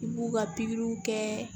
I b'u ka pikiriw kɛ